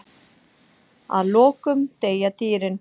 Að lokum deyja dýrin.